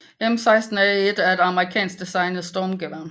M16A1 er et amerikansk designet stormgevær